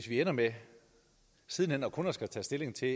vi ender med siden hen kun at skulle tage stilling til